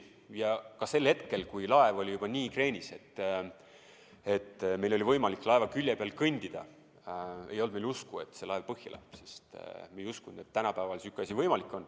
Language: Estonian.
Isegi sel hetkel, kui laev oli juba nii kreenis, et meil oli võimalik laeva külje peal kõndida, ei olnud veel usku, et see laev põhja läheb, sest me ei uskunud, et tänapäeval sihuke asi võimalik on.